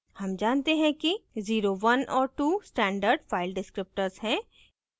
हम जानते हैं कि 01 और 2 standard file descriptors हैं